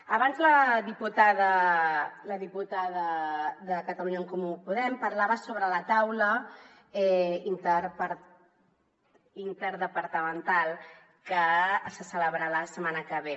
abans la diputada de catalunya en comú podem parlava sobre la taula interdepartamental que se celebrarà la setmana que ve